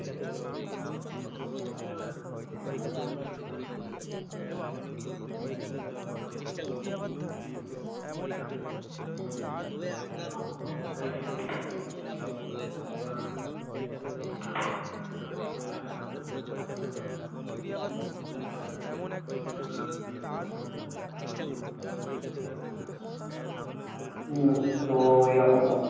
হুম তো এইরকম ব্যাপার।